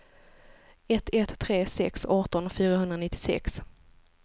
ett ett tre sex arton fyrahundranittiosex